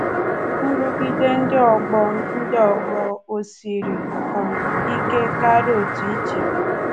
Nrụgide ndị ọgbọ ndị ọgbọ ò siri um ike karịa otú i chere?